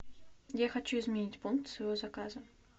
я хочу изменить пункт своего заказа